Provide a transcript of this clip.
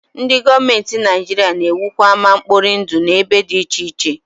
Ndị gọọmenti Naijiria na-ewukwa ama mkpori ndụ n'ebe dị iche iche